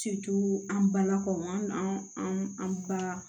an balakaw an an ka